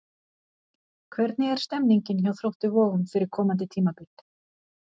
Hvernig er stemningin hjá Þrótti Vogum fyrir komandi tímabil?